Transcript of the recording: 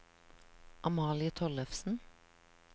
Amalie Tollefsen